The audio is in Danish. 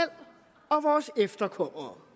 og vores efterkommere